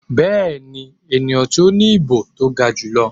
Bẹ́ẹ̀ni, eniyan ti o ni ibo to ga julọ.